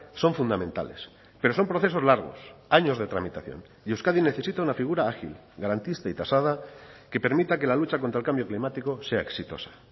son fundamentales pero son procesos largos años de tramitación y euskadi necesita una figura ágil garantista y tasada que permita que la lucha contra el cambio climático sea exitosa